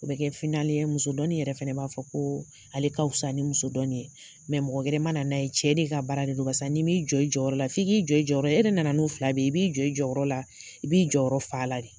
O be kɛ finali ye muso dɔni yɛrɛ fɛnɛ b'a fɔ ko ale ka fisa ni muso dɔni ye . mɔgɔ wɛrɛ ma na n'a ye, cɛ de ka baara de don barisa n'i mi jɔ i jɔyɔrɔ la ,f'i k'i jɔ yɛrɛ nana'u fila bɛ i b'i jɔ jɔyɔrɔ la i b'i jɔyɔrɔ fa la de